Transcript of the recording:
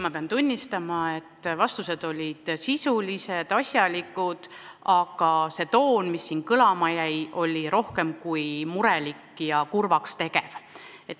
Ma pean tunnistama, et vastused olid sisulised ja asjalikud, aga see toon, mis kõlama jäi, oli rohkem kui muret tekitav ja kurvaks tegev.